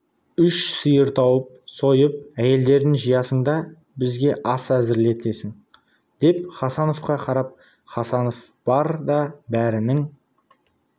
үш сиыр тауып сойып әйелдерін жиясың да бізге ас әзірлетесің деп хасановқа қарап хасанов бар да бәрінің